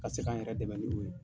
Ka se k'an yɛrɛ dɛmɛ ni ye